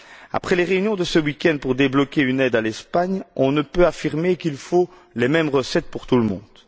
Après les réunions de ce week end pour débloquer une aide à l'Espagne, on ne peut affirmer qu'il faut les mêmes recettes pour tout le monde.